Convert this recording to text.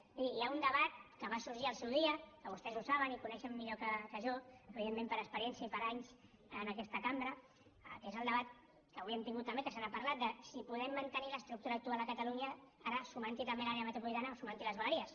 és a dir hi ha un debat que va sorgir al seu dia que vostès ho saben i coneixen millor que jo evidentment per experiència i per anys en aquesta cambra que és el debat que avui hem tingut també que se n’ha parlat de si podem mantenir l’estructura actual a catalunya ara sumant hi també l’àrea metropolitana o sumant hi les vegueries